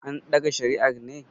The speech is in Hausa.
andaga shariar ne?